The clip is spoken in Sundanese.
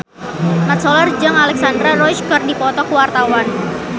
Mat Solar jeung Alexandra Roach keur dipoto ku wartawan